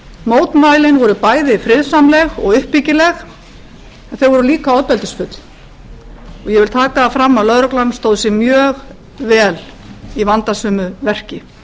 mótmælin voru bæði friðsamleg og uppbyggileg en þau voru líka ofbeldisfull og ég vil taka það fram að lögreglan stóð sig mjög vel í vandasömu verki